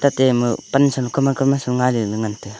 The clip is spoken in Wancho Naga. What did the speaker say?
tate ama pansa low kaman kamana sa lo ngaile ley ngan taga.